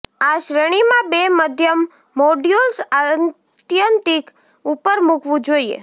આ શ્રેણીમાં બે મધ્યમ મોડ્યુલ્સ આત્યંતિક ઉપર મૂકવું જોઈએ